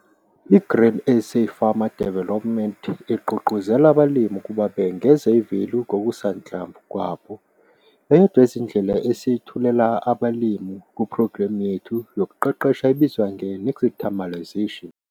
I-GRAIN SA FARMER DEVELOPMENT IGQUGQUZELA ABALIMI UKUBA BENGEZE I-VALUE KOKUSANHLAMVU KWABO. EYODWA YEZINDLELA ESIYETHULELA ABALIMI KUPHROGREMU YETHU YOKUQEQESHA IBIZWA NGE-NIXTAMALISATION.